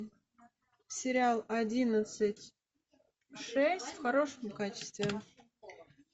сериал одиннадцать шесть в хорошем качестве